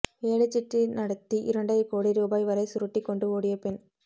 ஏலச் சீட்டு நடத்தி இரண்டரை கோடி ரூபாய் வரை சுருட்டி கொண்டு ஓடிய பெண்